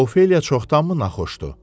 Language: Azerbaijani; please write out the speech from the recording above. Ofeliya çoxdanmı naxoşdur?